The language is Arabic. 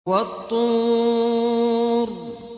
وَالطُّورِ